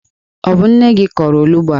Ọ bụ nne gi kọrọ olughu a?